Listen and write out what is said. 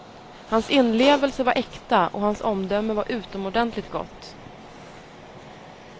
Hans inlevelse var äkta och hans omdöme var utomordentligt gott.